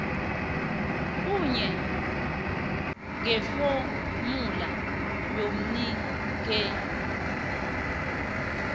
kuye ngefomula yomnikeli